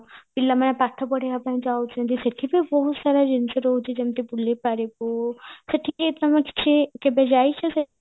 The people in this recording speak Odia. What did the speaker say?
ପିଲାମାନେ ପାଠ ପଢିବା ପାଇଁ ଯାଉଚନ୍ତି ସେଠି ବି ବହୁତ ସାରା ଜିନିଷ ରହୁଚି ଯେମତି ବୁଲିପାରିବୁ ସେଠିକି ତମେ କିଛି କେବେ ଯାଇଚ